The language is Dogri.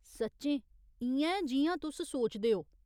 सच्चें इ'यां ऐ जि'यां तुस सोचदे ओ ?